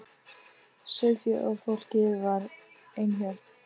Sauðféð og fólkið var ein hjörð.